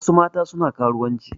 Wasu mata suna karuwanci.